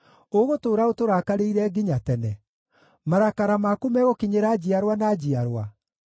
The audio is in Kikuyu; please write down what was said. Ũgũtũũra ũtũrakarĩire nginya tene? Marakara maku megũkinyĩra njiarwa na njiarwa?